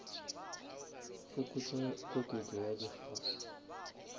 fokotša koketšo ya di gas